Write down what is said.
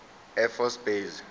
air force base